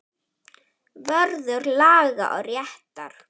Vörður laga og réttar.